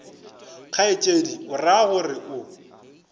kgaetšedi o ra gore o